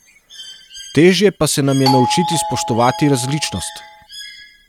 Težje pa se nam je naučiti spoštovati različnost.